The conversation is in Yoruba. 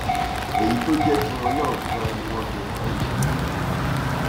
èyí tó jẹ tiwọn náà ganan ni wọn fi hàn án yẹn